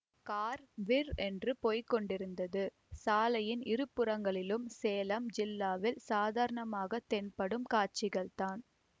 car விர் என்று போய்க்கொண்டிருந்தது சாலையின் இருபுறங்களிலும் சேலம் ஜில்லாவில் சாதாரணமாகத் தென்படும் காட்சிகள்தான்